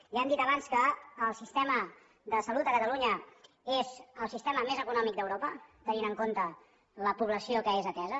ja hem dit abans que el sistema de salut a catalunya és el sistema més econòmic d’europa tenint en compte la població que és atesa